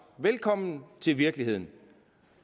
velkommen til virkeligheden